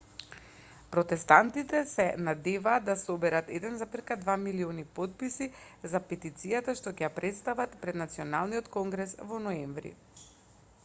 протестантите се надеваат да соберат 1,2 милиони потписи за петицијата што ќе ја претстават пред националниот конгрес во ноември